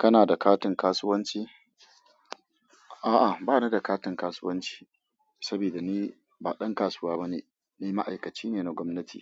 Kana da katin kasuwanci? A'a, ba ni da katin kasuwanci saboda ni ba ɗan kasuwa bane. Ni ma'aikaci ne na gwamnati,